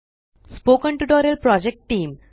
spoken tutorial project team